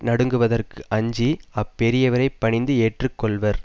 நடுங்குவதற்கு அஞ்சி அப்பெரியவரைப் பணிந்து ஏற்று கொள்வர்